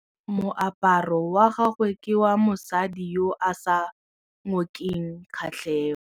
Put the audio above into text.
Moaparô wa gagwe ke wa mosadi yo o sa ngôkeng kgatlhegô.